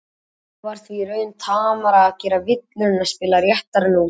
Honum var því í raun tamara að gera villur en að spila réttar nótur.